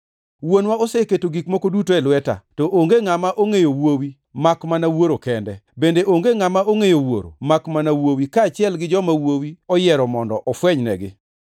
“Wuonwa oseketo gik moko duto e lweta. To onge ngʼama ongʼeyo Wuowi makmana Wuoro kende, bende onge ngʼama ongʼeyo Wuoro makmana Wuowi kaachiel gi joma Wuowi oyiero mondo ofwenynegi.”